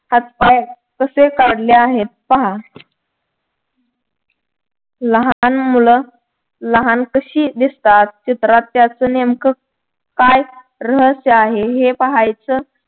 हातपाय कसे काढले आहेत पहा लहान मूल लहान कशी दिसतात चित्रात त्याच नेमकं काय रहस्य आहे हे पाहायचं.